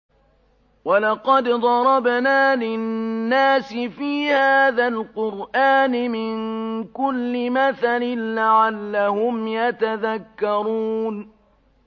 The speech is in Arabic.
وَلَقَدْ ضَرَبْنَا لِلنَّاسِ فِي هَٰذَا الْقُرْآنِ مِن كُلِّ مَثَلٍ لَّعَلَّهُمْ يَتَذَكَّرُونَ